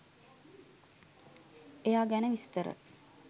එයා ගැන විස්තර